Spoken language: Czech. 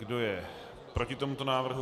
Kdo je proti tomuto návrhu?